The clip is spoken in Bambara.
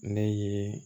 Ne ye